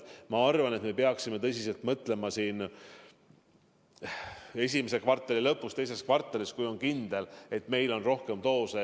Me peaksime sellele tõsiselt mõtlema esimese kvartali lõpus ja teises kvartalis, kui on kindel, et meil on rohkem doose.